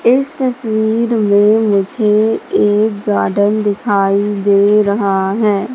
इस तस्वीर में मुझे एक गार्डन दिखाई दे रहा हैं।